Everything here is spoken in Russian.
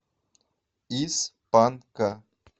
из панка